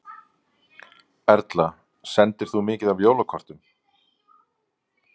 Erla: Sendir þú mikið af jólakortum?